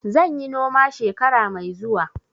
Zan yi noma shekara mai zuwa.